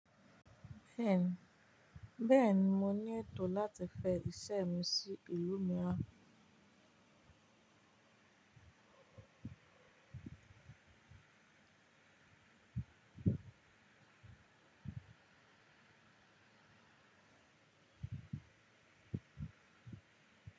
Bẹ́ẹ̀ni, bẹ́ẹ̀ni mo ní ètò láti fẹ iṣẹ́ mi sí ìlú míràn.